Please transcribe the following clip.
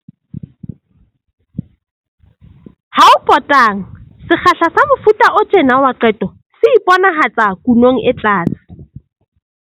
Ha ho potang, sekgahla sa mofuta o tjena wa qeto se iponahatsa kunong e tlase.